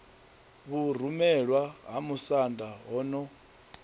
vhurumelwa ha musanda ho no